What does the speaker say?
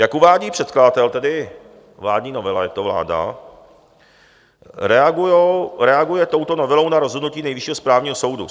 Jak uvádí předkladatel, tedy vládní novela, je to vláda, reaguje touto novelou na rozhodnutí Nejvyššího správního soudu.